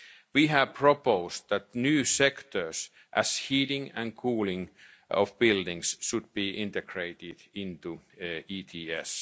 quickly and efficiently. We have proposed that new sectors, such as heating and cooling of buildings, be